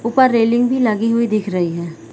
ऊपर रेलिंग भी लगी हुई दिख रही हैं ।